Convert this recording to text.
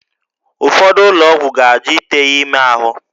Ụfọdụ ụlọ ọgwụ ga-ajụ ite ya ime ahụ